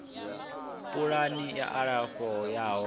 pulani ya u alafha yo